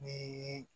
Ni